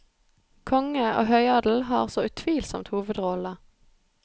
Konge og høyadel har så utvilsomt hovedrollene.